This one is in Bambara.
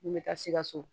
N bɛ taa sikaso